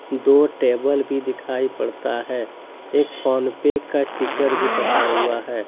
दो टेबल भी दिखाई पड़ता है एक फोन पे का स्टीकर भी फटा हुआ है।